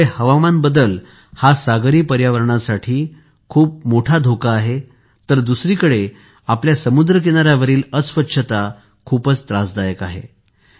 एकीकडे हवामान बदल सागरी पर्यावरणाला खूप मोठा धोका निर्माण होत आहे तर दुसरीकडे आपल्या समुद्र किनाऱ्यावरील अस्वछता खूपच त्रासदायक आहे